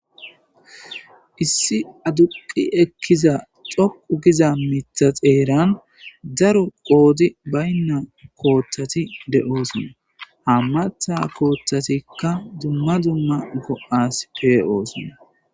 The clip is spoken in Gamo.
issi aduqi ekkiza coqu giza mitha xeeran daru qoodi baynna kooththati de7oosona hammatha kooththatikka dumma dzumma go7as pee oosona